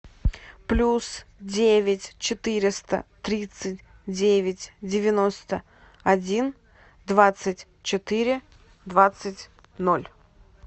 плюс девять четыреста тридцать девять девяносто один двадцать четыре двадцать ноль